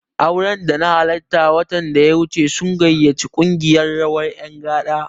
Auren da na halarta watan da ya wuce sun gayyaci ƙungiyar rawar ƴan gada.